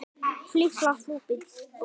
Það vita feður aldrei.